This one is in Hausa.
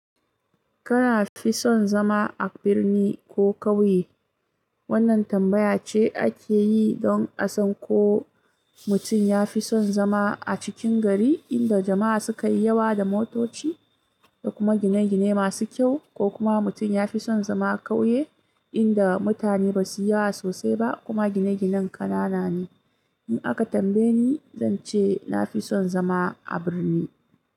Kana fi son zama a birni ko kauye? Wannan tambaya ce ake yi don a san ko mutum ya fi son zama a cikin gari inda jama'a suka yi yawa da motoci da kuma gine-gine masu kyau, ko kuma mutum ya fi son zama a kauye inda mutane ba su yi yawa sosai ba kuma gine-ginen ƙanana ne. In aka tambaye ni, zan ce na fi son zama a birni.